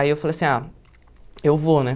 Aí eu falei assim, ah, eu vou, né?